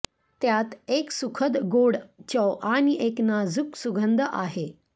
त्यात एक सुखद गोड चव आणि एक नाजूक सुगंध आहे